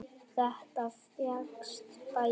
Þetta fékkst bætt.